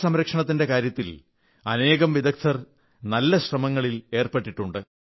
ജലസംരക്ഷണത്തിന്റെ കാര്യത്തിൽ അനേകം വിദഗ്ധർ നല്ല ശ്രമങ്ങളിൽ എർപ്പെട്ടിട്ടുണ്ട്